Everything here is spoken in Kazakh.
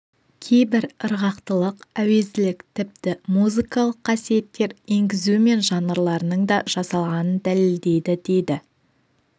кейбір ырғақтылық әуезділік тіпті музыкалық қасиеттер енгізу мен жанрларының да жасалғанын дәлелдейді дейді